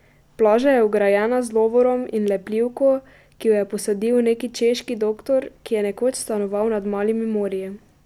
Plaža je ograjena z lovorom in lepljivko, ki ju je posadil neki češki doktor, ki je nekoč stanoval nad Malimi morji.